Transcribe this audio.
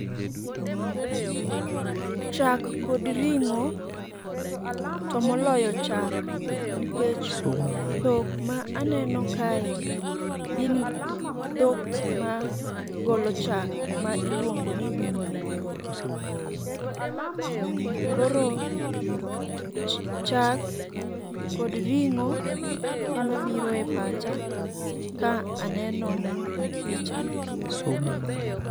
Chak kod ring'o to moloyo chak nikech dhok ma aneno kae gi gin dhok ma golo chak ma iluongo ni dume. Koro chak kod ring'o ema biro e pacha ka aneno picha ni.